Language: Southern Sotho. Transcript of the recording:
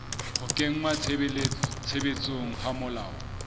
ho kenngwa tshebetsong ha melao